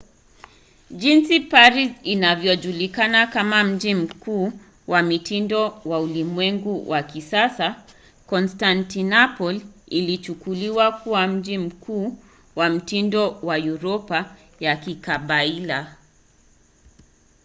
jinsi paris inavyojulikana kama mji mkuu wa mitindo wa ulimwengu wa kisasa konstantinople ilichukuliwa kuwa mji mkuu wa mitindo wa uropa ya kikabaila